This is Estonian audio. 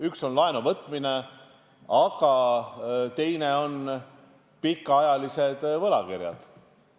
Üks asi on laenuvõtmine, aga teine on pikaajalised võlakirjad.